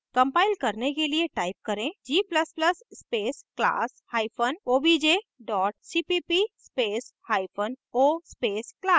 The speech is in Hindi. कंपाइल करने के लिए type करें g ++ space class hyphen obj dot cpp space hyphen o space class